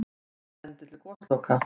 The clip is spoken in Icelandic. Ekkert bendi til gosloka.